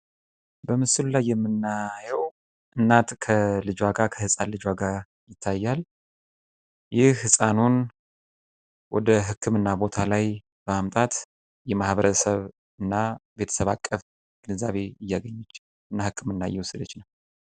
በምስሉ ላይ የምናየው እናት ከልጇ ጋር ከህፃን ልጇ ጋር ይታያል። ይህ ህፃን ወደ ህክምና ቦታ ላይ በማምጣት የማህበረሰብ እና ቤተሰብ አቀፍ ግንዛቤ እያገኘች እና ህክምና እያገኘች ነው።